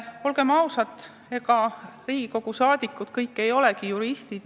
Olgem ausad, ega Riigikogu liikmed kõik ei ole juristid.